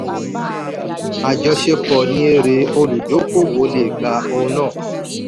àjọṣepọ̀ ní èrè olùdókòwò le gba ohun náà.